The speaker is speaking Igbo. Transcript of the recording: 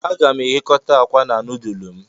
Aga m eghekota akwa na nudulu m